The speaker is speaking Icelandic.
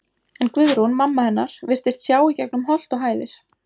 En Guðrún, mamma hennar, virtist sjá í gegnum holt og hæðir.